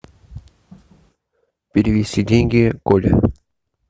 перевести деньги коле